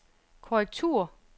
korrektur